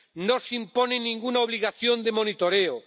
No se impone ninguna obligación de monitoreo.